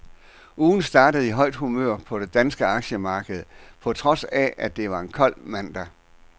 Ugen startede i højt humør på det danske aktiemarked på trods af, at det var en kold mandag.